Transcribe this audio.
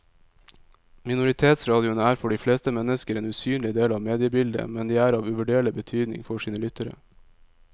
Minoritetsradioene er for de fleste mennesker en usynlig del av mediebildet, men de er av uvurderlig betydning for sine lyttere.